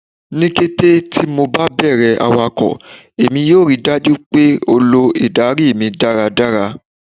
Ni kete ti MO ba bẹrẹ awakọ, Emi yoo rii daju pe o lo idari mi daradara